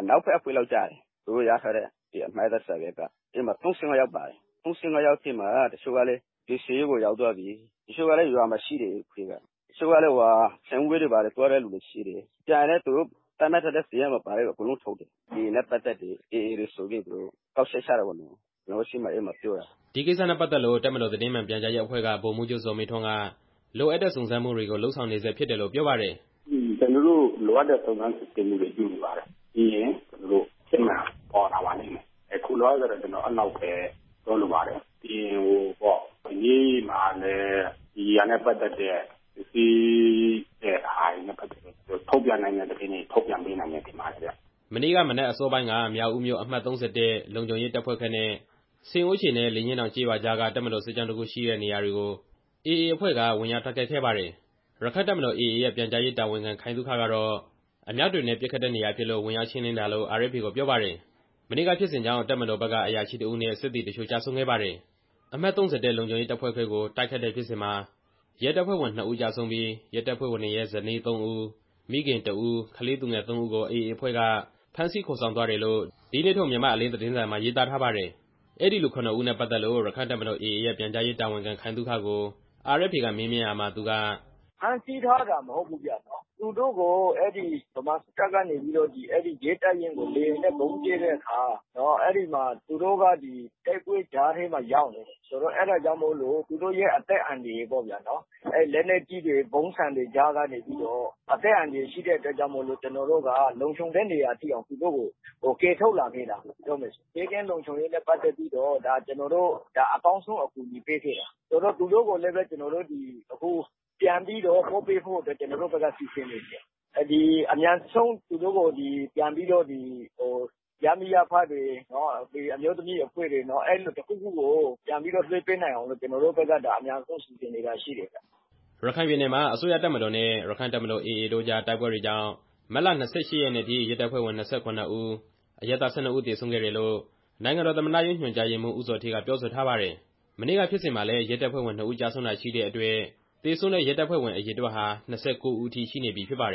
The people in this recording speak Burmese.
အနောက်ဘက်အဖွဲ့ ဖြစ်မယ်။ သူတို့ရထားတဲ့ အမှတ်အသားစာရွက်က။ ဒီအထဲမှာ ၃၅ ယောက်ပါတယ်။ ၃၅ ယောက်ထဲမှာ တစ်ချို့ကလည်း ကယ်ဆယ်ရေးစခန်းတွေကိုရောက်သွားပြီ၊ တစ်ချို့ကလည်း ရွာမှာရှိတယ်။ တစ်ချို့ကလည်း ရှင်ပြုပွဲတွေကိုသွားနေတဲ့လူတွေရှိတယ်။ ကျန်တဲ့သူတွေထဲက သူတို့သတ်မှတ်ထားတဲ့ စာရင်းထဲမှာပါတဲ့သူတွေကို အကုန်လုံးခေါ်ထုတ်တယ်။ AA နဲ့ပတ်သက်တယ်၊ AA တွေဆိုပြီးတော့ သူတို့က ကောက်ချက်ချတာပေါ့လေ။ ကျွန်တော်တို့ရှေ့မှာ အဲလိုမျိုးပြောတာ" ဒီကိစ္စနဲ့ပတ်သက်လို့ တပ်မတော်သတင်းမှန်ပြန်ကြားရေးအဖွဲ့က ဗိုလ်မှူးချုပ်ဇော်မင်းထွန်းက လိုအပ်တဲ့ စုံစမ်းမှုတွေလုပ်နေဆဲဖြစ်တယ်လို့ ပြောပါတယ်။ "ကျွန်တော်တို့ လိုအပ်တဲ့စုံစမ်းစစ်ဆေးမှုတွေလုပ်နေပါတယ်။ ပြီးရင် သူတို့အဖြစ်မှန်ပေါ်လာပါလိမ့်မယ်။ အခုလောလောဆယ်တော့ ကျွန်တော်က အဲလောက်ပဲပြောလိုပါတယ်။ ပြီးရင် ရဲမှာလည်း ဒီဟာနဲ့ပတ်သက်ပြီးတော့ စစ်ဆေးတဲ့ဟာတွေနဲ့ပတ်သက်တဲ့ ထုတ်ပြန်ပေးနိုင်တဲ့သတင်းတွေကို ထုတ်ပြန်မယ်ထင်တယ်ဗျ" မနေ့ကမနက်အစောပိုင်းက မြောက်ဦးမြို့ အမှတ် လုံခြုံရေးရဲတပ်ဖွဲ့ခွဲနဲ့ ဆင်အိုးချေနဲ့ လေညှင်းတောင် ကျေးရွာကြားက တပ်မတော်စစ်ကြောင်းတစ်ခုရှိတဲ့နေရာကို AA အဖွဲ့က ဝင်ရောက်တိုက်ခိုက်ခဲ့ပါတယ်။ ရက္ခိုင့်တပ်မတော် ရဲ့ပြန်ကြားရေးတာဝန်ခံ ခိုင်သုခကတော့ အမြောက်တွေနဲ့ ပစ်ခတ်တဲ့နေရာဖြစ်လို့ ဝင်ရောက်ရှင်းလင်းတာလို့ RFA ကိုပြောပါတယ်။ မနေ့ကဖြစ်စဉ်ကြောင့် တပ်မတော်ဘက်က အရာရှိတစ်ဦးနဲ့ စစ်သည်အချို့ကျဆုံးခဲ့ပါတယ်။ အမှတ် လုံခြုံရေးရဲတပ်ဖွဲ့ခွဲကို တိုက်ခိုက်တဲ့ဖြစ်စဉ်မှာ ရဲတပ်ဖွဲ့ဝင် ၂ ဦးကျဆုံးပြီး ရဲတပ်ဖွဲ့ဝင်တွေရဲ့ ဇနီး ၃ ဦး၊ မိခင်တစ်ဦး၊ ကလေးသူငယ် ၃ ဦးကို AA အဖွဲ့က ဖမ်းဆီးခေါ်ဆောင်သွားတယ်လို့ ဒီနေ့ထုတ် မြန်မာ့အလင်း သတင်းစာမှာရေးထားပါတယ်။ အဲဒီလူ ၇ ဦးနဲ့ပတ်သက်လို့ ရက္ခိုင့်တပ်မတော် ရဲ့ ပြန်ကြားရေးတာဝန်ခံ ခိုင်သုခကို RFA က မေးမြန်းခဲ့ရာမှာ သူက - "ဖမ်းဆီးထားတာမဟုတ်ဘူးဗျ။ သူတို့ကို အဲဒီဗမာစစ်တပ်က ရဲတပ်ရင်းကိုလေယာဉ်နဲ့ ဗုံးကြဲတဲ့အခါမှာ အဲဒီမှာ သူတို့က တိုက်ပွဲကြားထဲမှာရောက်နေတယ်။ အဲဒါကြောင့်မို့လို့ သူတို့ရဲ့ အသက်အန္တရာယ်အတွက်ပေါ့နော် လက်နက်ကြီးတွေ၊ ဗုံးဆံတွေကြားထဲကနေပြီးတော့ အသက်အန္တရာယ်ရှိတဲ့အတွက်မို့လို့ ကျွန်တော်တို့က လုံခြုံတဲ့နေရာကိုရောက်တဲ့အထိ သူတို့ကို ကယ်ထုတ်လာခဲ့တာပေါ့ ပြောရမယ်ဆိုရင်။ ဘေးကင်းလုံခြုံရေးနဲ့ပတ်သက်လို့ ကျွန်တော်တို့က ဒါအကောင်းဆုံးအကူအညီပေးခဲ့တာ။ သူတို့ကို ကျွန်တော်တို့က အခုပြန်ပို့ပေးဖို့အတွက် ကျွန်တော်တို့ဘက်ကစီစဉ်နေတယ်။ အမြန်ဆုံး သူတို့ကို ရပ်မိရပ်ဖတွေ၊ အမျိုးသမီးအဖွဲ့တွေ အဲလိုမျိုးတစ်ခုခုကို ပြန်ပြီးတော့ လွှဲပေးနိုင်အောင် ကျွန်တော်တို့ဘက်က ဒါအမြန်ဆုံး စီစဉ်နေတာရှိတယ်ဗျ" ရခိုင်ပြည်နယ်မှာ အစိုးရတပ်မတော်နဲ့ ရက္ခိုင့်တပ်မတော် တို့အကြား တိုက်ပွဲတွေကြောင့် မတ်လ ၂၈ ရက်နေ့အထိ ရဲတပ်ဖွဲ့ဝင် ၂၇ ဦး၊ အရပ်သား ၁၂ ဦးသေဆုံးခဲ့တယ်လို့ နိုင်ငံတော်သမ္မတရုံးညွှန်ကြားရေးမှူး ဦးဇော်ဌေးကပြောဆိုထားပါတယ်။ မနေ့က ဖြစ်စဉ်မှာလည်း ရဲတပ်ဖွဲ့ဝင် ၂ ဦးကျဆုံးတာရှိတဲ့အတွက် သေဆုံးတဲ့ရဲတပ်ဖွဲ့အရေအတွက်ဟာ ၂၉ ဦးအထိ ရှိနေပြီဖြစ်ပါတယ်